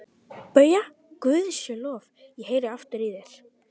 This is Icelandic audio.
BAUJA: Guði sé lof, ég heyri aftur í þér!